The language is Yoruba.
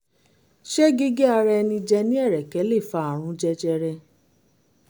ṣé gígé ara ẹni jẹ ní ẹ̀rẹ̀kẹ́ lè fa àrùn jẹjẹrẹ?